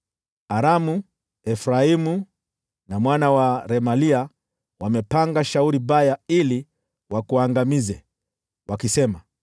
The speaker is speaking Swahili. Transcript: Aramu, Efraimu na mwana wa Remalia wamepanga shauri baya ili wakuangamize, wakisema,